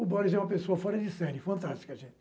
O Boris é uma pessoa fora de série, fantástica, gente.